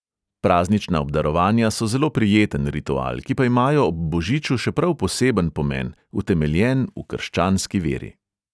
Praznična obdarovanja so zelo prijeten ritual, ki pa imajo ob božiču še prav poseben pomen, utemeljen v krščanski veri.